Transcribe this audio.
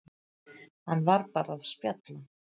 Hann var bara að spjalla.